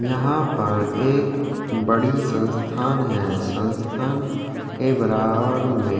यहाँ पर एक बड़ी संस्थान है संस्थान के बराबर में --